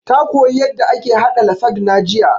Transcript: Ta koya yanda ake haɗa lasagna jiya